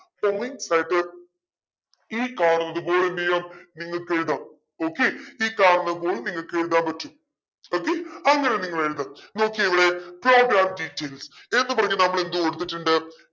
ഈ കാണുന്നത് പോലെ എന്തെയ്യാം നിങ്ങൾക്കെഴുതാം okay ഈ കാണുന്നത് പോലെ നിങ്ങക്ക് എഴുതാൻ പറ്റും okay അങ്ങനെ നിങ്ങൾ എഴുത നോക്കിയേ ഇവിടെ program details എന്നു പറഞ്ഞു നമ്മളെന്തു കൊടുത്തിട്ടുണ്ട്